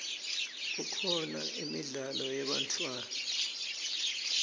kukhona imidlalo yebantfwana